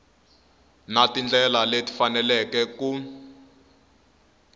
na tindlela leti faneleke ku